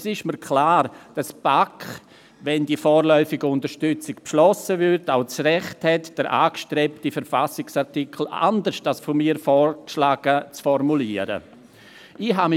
Es ist mir klar, dass die BaK auch das Recht hätte, den angestrebten Verfassungsartikel anders als von mir vorgeschlagen zu formulieren, wenn die vorläufige Unterstützung beschlossen würde.